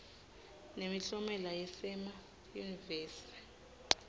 nemiklomelo yasema yunivesi